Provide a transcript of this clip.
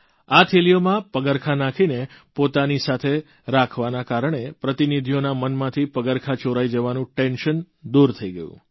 આ થેલીઓમાં પગરખાં નાંખીને પોતાની સાથે રાખવાના કારણે પ્રતિનિધિઓના મનમાંથી પગરખાં ચોરાઇ જવાનું ટેન્શન દૂર થઇ ગયું